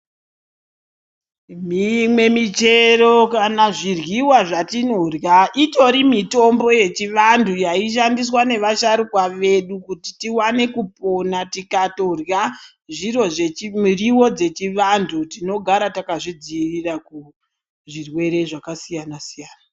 Mimwe michero kana zviryiwa zvatinorya itori mitombo yechivantu yaishandiswa nevasharuka vedu kuti tiwane kupona tikatorya miriwo dzechivantu tinogara takazvidziirira kuzvirwere zvakasiyana siyana.